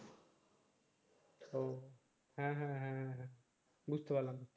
হ্যাঁ হ্যাঁ বুঝতে পারলাম